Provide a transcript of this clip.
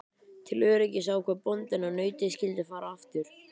Til öryggis ákvað bóndinn að nautið skyldi fara aftur.